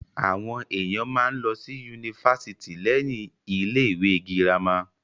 Àwọn èèyàn máa ń lọ sí ifásitì lẹ́yìn ilé ìwé girama